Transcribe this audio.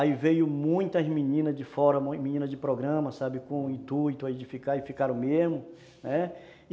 Aí veio muitas meninas de fora, meninas de programa, sabe, com o intuito de ficar e ficaram mesmo.